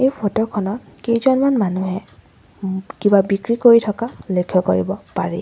এই ফটো খনত কেইজনমান মানুহে ওম কিবা বিক্ৰী কৰি থকা লক্ষ্য কৰিব পাৰি।